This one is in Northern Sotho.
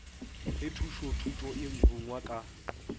ge thušothuto e rungwa ka